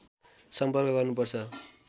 सम्पर्क गर्नुपर्छ